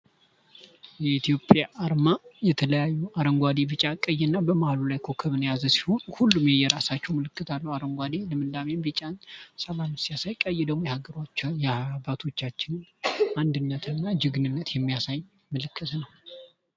የኢትዮጵያ አርማ የተለያዩ አረንጓዴ ፣ቢጫ፣ ቀይ እና በመሀሉ ላይ ኮከብን የያዘ ሲሆን፤ ሁሉም የየራሳቸው ምልክት አላቸው። አረንጓዴ ልምላሜን ቢጫን ሲያሳይ ቀይ ደግሞ የአገሮቹ የአባቶቻችን አንድነትና ጀግንነት የሚያሳይ ምልክት ነው።